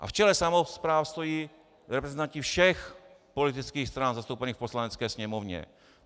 A v čele samospráv stojí reprezentanti všech politických stran zastoupených v Poslanecké sněmovně.